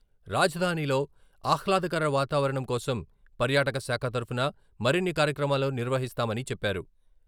రాజధానిలో ఆహ్లాదకర వాతావరణం కోసం పర్యాటక శాఖ తరఫున మరిన్ని కార్యక్రమాలు నిర్వహిస్తామని చెప్పారు.